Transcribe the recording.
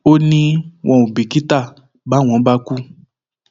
ó ní wọn ò bìkítà báwọn bá kú